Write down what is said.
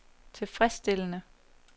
tilfredsstillende